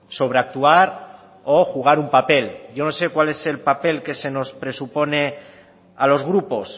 sobreactuar o jugar un papel yo no sé cuál es el papel que se nos presupone a los grupos